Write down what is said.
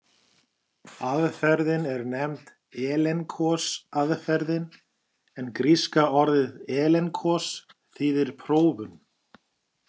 Aðferðin er nefnd elenkos-aðferðin, en gríska orðið elenkos þýðir prófun.